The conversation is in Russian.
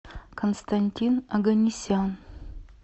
константин оганесян